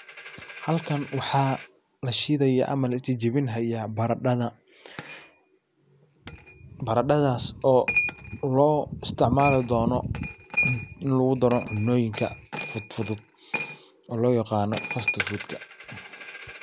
Halkan waxa lashidaya ama lajajiwin hay baradadha, baradadhas ooloisticmali dono, in lagudaro cunoyinka fudud oo loyaqano first food.